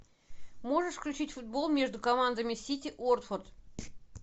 можешь включить футбол между командами сити уотфорд